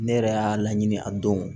Ne yɛrɛ y'a laɲini a don